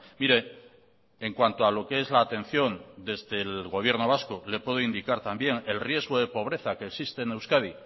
mire en cuanto a lo que es la atención desde el gobierno vasco le puede indicar también el riesgo de pobreza que existe en euskadi